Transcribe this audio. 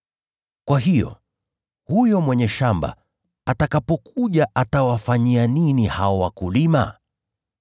“Kwa hiyo, huyo mwenye shamba la mizabibu atakapokuja, atawafanyia nini hao wakulima?”